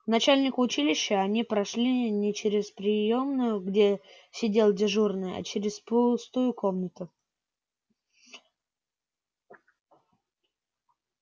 к начальнику училища они прошли не через приёмную где сидел дежурный а через пустую комнату